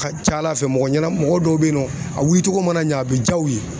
Ka ca Ala fɛ mɔgɔ ɲɛna mɔgɔ dɔw be yen nɔ a wulicogo mana ɲɛ a bɛ diya u ye